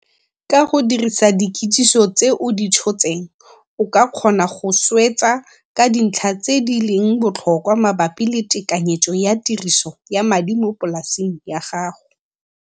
Ka go dirisa dikitso tse o di tshotseng, o ka kgona go swetsa ka dintlha tse di leng botlhokwa mabapi le tekanyetso ya tiriso ya madi mo polaseng ya gago.